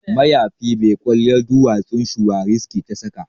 Mayafi mai kwalliyar duwatsun shuwariski ta saka